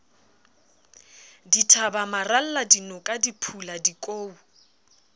dithaba maralla dinoka diphula dikou